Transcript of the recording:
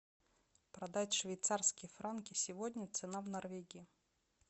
продать швейцарские франки сегодня цена в норвегии